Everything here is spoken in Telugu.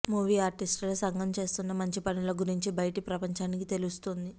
మూవీ ఆర్టిస్టుల సంఘం చేస్తున్న మంచి పనుల గురించి బయటి ప్రపంచానికి తెలుస్తోంది